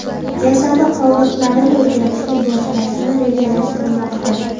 jasadi qoldiqlarini o‘rganishni boshlashni rejalashtirmoqda.